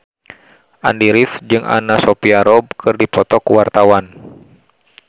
Andy rif jeung Anna Sophia Robb keur dipoto ku wartawan